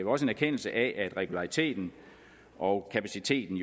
også en erkendelse af at regulariteten og kapaciteten